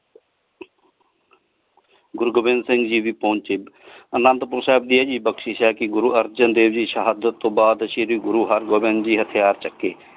ਗੁਰੂ ਗੋਬਿੰਦ ਸਿੰਘ ਜੀ ਵੀ ਪਹੁੰਚੇ ਅਨੰਦੁਪੁਰ ਸਾਹਿਬ ਤੇ ਇਹ ਬਖਸ਼ਿਸ਼ ਹੈ ਕੀ ਗੁਰੂ ਅਰਜਨ ਦੇਵ ਜੀ ਸ਼ਹਾਦਤ ਤੋਂ ਬਾਦ ਸ਼ੀਰੀ ਗੁਰੂ ਹਰਗੋਬਿੰਦ ਜੀ ਹਥਿਯਾਰ ਚੁੱਕੇ।